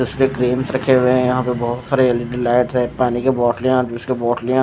इसके क्रीम्स रखे हुए है यहां पे बहुत सारी एल _इ _डी लाइट्स हैपानी के बॉटलेय अविस की बॉटलेय है ।